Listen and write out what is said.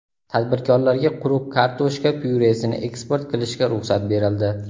Tadbirkorlarga quruq kartoshka pyuresini eksport qilishga ruxsat berildi.